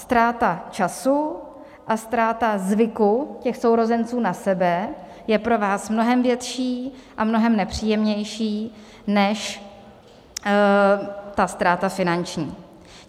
Ztráta času a ztráta zvyku těch sourozenců na sebe je pro vás mnohem větší a mnohem nepříjemnější než ta ztráta finanční.